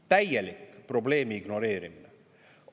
Täielik probleemi ignoreerimine!